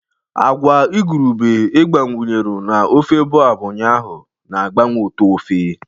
Agwa igurube ị gbakwunyere na ofe boab ụnyaahụ na-agbanwe ụtọ ofe